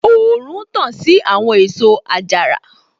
Òòrùn tàn sí àwọn èso àjàrà